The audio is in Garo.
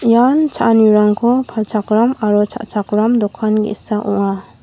ian cha·anirangko palchakram aro cha·chakram dokan ge·sa ong·a.